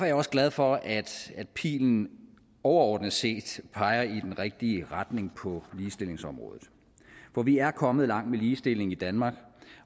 jeg også glad for at pilen overordnet set peger i den rigtige retning på ligestillingsområdet for vi er kommet langt med ligestillingen i danmark